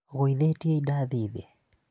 ũgũithĩtie indathi thĩ?